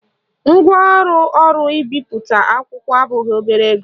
Ngwaọrụ ọrụ mbipụta akwụkwọ abụghị obere ego